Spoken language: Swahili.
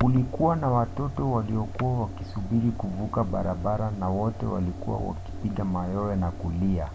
kulikuwa na watoto waliokuwa wakisubiri kuvuka barabara na wote walikuwa wakipiga mayowe na kulia.